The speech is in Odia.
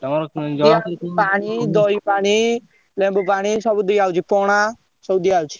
ପାଣି, ଦହି ପାଣି , ଲେମ୍ବୁ ପାଣି ,ସବୁ ଦିଆ ହଉଛି ପଣା ସବୁ ଦିଆ ହଉଛି।